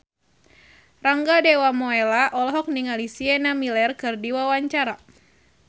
Rangga Dewamoela olohok ningali Sienna Miller keur diwawancara